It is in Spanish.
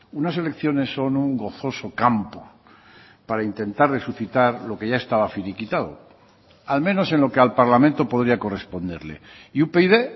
unas elecciones son un gozoso campo para intentar resucitar lo que ya estaba finiquitado al menos en lo que al parlamento podría corresponderle y upyd